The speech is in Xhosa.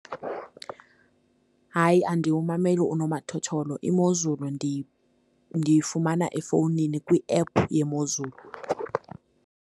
Hayi, andiwumameli unomathotholo, imozulu ndiyifumana efowunini kwiephu yemozulu.